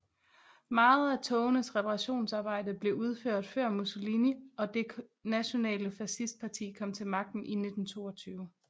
Meget af togenes reparationsarbejde blev udført før Mussolini og det Nationale Facist Parti kom til magten i 1922